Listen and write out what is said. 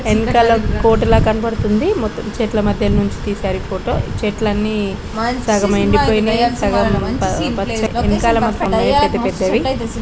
ఎనకాల కోట లాగా కనపడుతుంది. మొత్తం చెట్ల మధ్య నుంచి తీశారు ఈ ఫోటో చెట్లన్నీ సగం ఎండిపోయినాయ్ సగం పచ్చ ఎనకాల మొత్తం పెద్ద పెద్దవి --